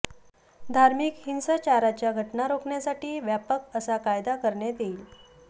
धार्मिक हिंसाचाराच्या घटना रोखण्यासाठी व्यापक असा कायदा करण्यात येईल